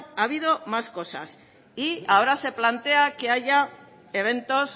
ha habido más cosas y ahora se plantea que haya eventos